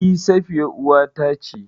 E Safiya uwata ce.